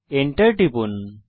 Enter টিপুন